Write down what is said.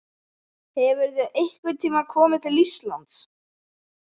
Hefurðu einhvern tíma komið til Íslands?